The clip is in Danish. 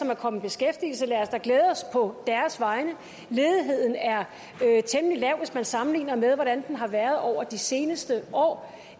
er kommet i beskæftigelse lad os da glæde os på deres vegne ledigheden er temmelig lav hvis man sammenligner det med hvordan den har været over de seneste år